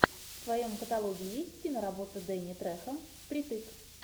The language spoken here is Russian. в твоем каталоге есть киноработа дэнни трехо впритык